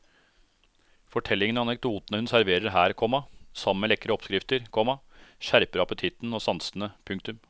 Fortellingene og anekdotene hun serverer her, komma sammen med lekre oppskrifter, komma skjerper appetitten og sansene. punktum